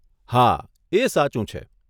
હા, એ સાચું છે.